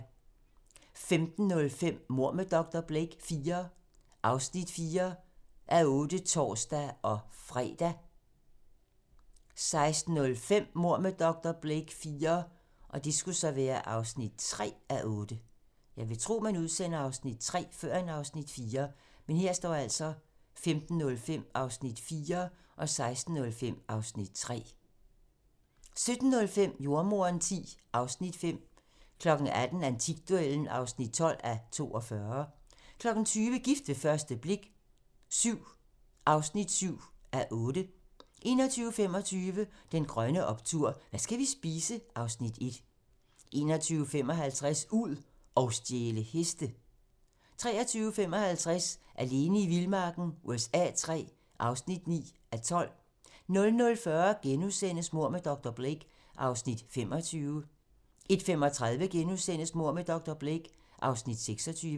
15:05: Mord med dr. Blake IV (4:8)(tor-fre) 16:05: Mord med dr. Blake IV (3:8) 17:05: Jordemoderen X (Afs. 5) 18:00: Antikduellen (12:42) 20:00: Gift ved første blik VII (7:8) 21:25: Den grønne optur: Hvad skal vi spise? (Afs. 1) 21:55: Ud og stjæle heste 23:55: Alene i vildmarken USA III (9:12) 00:40: Mord med dr. Blake (Afs. 25)* 01:35: Mord med dr. Blake (Afs. 26)*